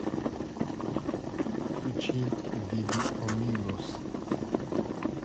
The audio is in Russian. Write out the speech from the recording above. включи бибио мигос